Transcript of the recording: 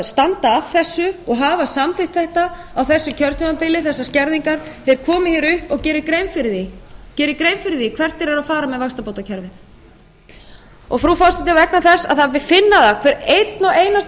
standa að þessu og hafa samþykkt þetta á þessu kjörtímabili þessar skerðingar þeir komi hér upp og geri grein fyrir því hvert þeir eru að fara með vaxtabótakerfið frú forseti vegna þess að það má finna það að hver og einn og einasti